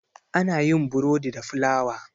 ana yin borodi da fulawa